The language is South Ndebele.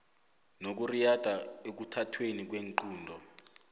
nokuriyada ekuthathweni kweenqunto